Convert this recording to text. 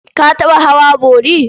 Ka taɓa hawa bori?